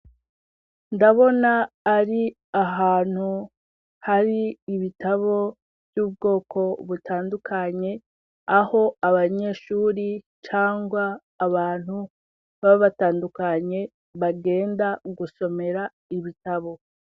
Ndabona ari ahantu hari ibitabo vy'ubwoko butandukanye, aho abanyeshure cangwa abantu baba batandukanye, bagenda gusomera ibitabo.